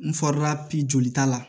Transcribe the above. N jolita la